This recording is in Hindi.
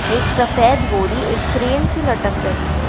एक सफेद बोरी एक क्रेन से लटक रही है ।